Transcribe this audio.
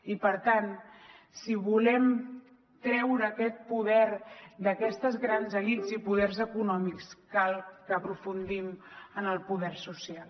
i per tant si volem treure aquest poder d’aquestes grans elits i poders econòmics cal que aprofundim en el poder social